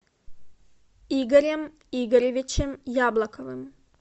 игорем игоревичем яблоковым